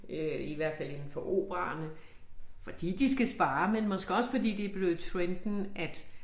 Øh i hvert fald indenfor operaerne fordi de skal spare men måske også fordi det blevet trenden at